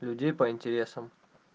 людей по интересам